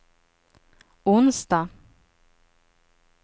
onsdag